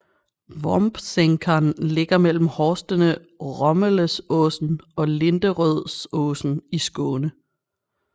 Vombsänkan ligger mellem horstene Romeleåsen og Linderödsåsen i Skåne